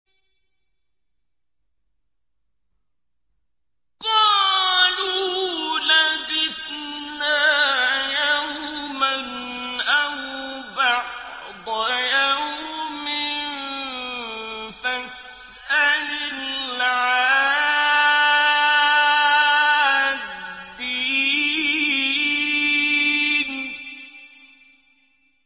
قَالُوا لَبِثْنَا يَوْمًا أَوْ بَعْضَ يَوْمٍ فَاسْأَلِ الْعَادِّينَ